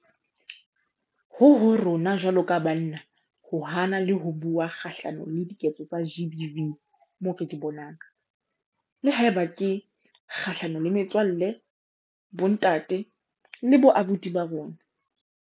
Ho ho rona jwalo ka banna ho hana le ho bua kgahlano le diketso tsa GBV moo re di bonang, le haeba ke kgahlano le metswalle, bontate le boabuti ba rona.